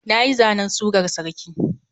Nayi zanen surar sarki.